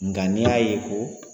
Nga n'i y'a ye ko